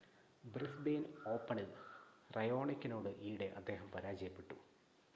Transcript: Brisbane ഓപ്പണിൽ റയോണിക്കിനോട് ഈയിടെ അദ്ദേഹം പരാജയപ്പെട്ടു